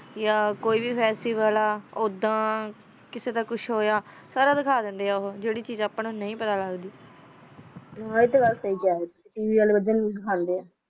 ਯਾ ਕੋਈ ਗਾਯ੍ਸੀ ਵਾਲਾ ਓਦਾ ਕੇਸੀ ਦਾ ਕੁਛ ਹੋਯਾ ਸਾਰਾ ਦਿਕਾ ਦੇਂਦੇ ਓ ਹੋ ਜੇਰੀ ਚੀਜ਼ ਦਾ ਅਪਾ ਨੂ ਪਤਾ ਲਾਗ ਦੇ ਹਨ ਟੀ ਆ ਸੀ ਆ india ਵਾਲੀ ਬਿਲਕੁਲ ਓਹੀ ਦਿਕੰਡੀ ਆ